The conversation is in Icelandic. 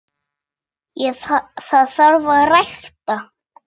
Það þarf að rækta.